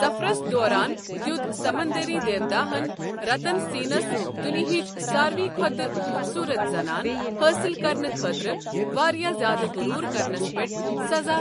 سفرس دوران دِیوٗت سَمنٛدٔری دیوتاہن رَتن سیٚنس دُنیِہِچ سارِوٕے کھۄتہٕ خوٗبصوٗرت زنان حٲصِل کرنہٕ خٲطرٕ واریاہ زیادٕ غٔروٗر کرنس پٮ۪ٹھ سَزا